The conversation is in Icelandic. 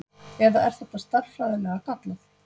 Eða er þetta stærðfræðilega gallað?